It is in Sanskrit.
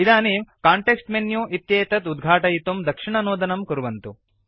इदानीं कान्टेक्स्ट मेनु इत्येतत् उद्घाटयितुं दक्षिणनोदनं कुर्वन्तु